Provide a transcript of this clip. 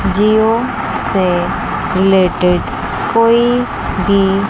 जिओ से रिलेटेड कोई भी--